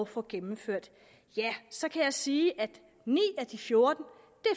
få gennemført ja så kan jeg sige at ni af de fjorten